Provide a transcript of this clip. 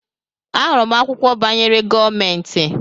Ahụrụ m akwụkwọ banyere gọọmentị.